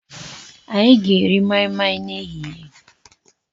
Anyị ga-eri mai mai n'ehihie.